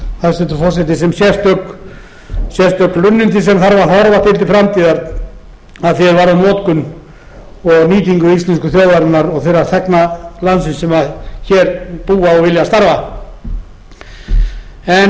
hæstvirtur forseti sem sérstök hlunnindi sem þarf að horfa til til framtíðar að því er varðar notkun og nýtingu íslensku þjóðarinnar og þeirra þegna landsins sem hér búa og vilja starfa hæstvirtur forseti